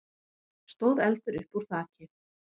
stóð eldur uppúr þaki.